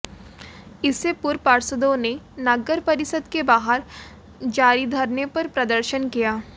इससे पूर्व पार्षदों ने नगर परिषद के बाहर जारी धरने पर प्रदर्शन किया